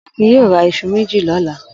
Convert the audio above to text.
Akin yóò ra iṣu méjì lọ́la!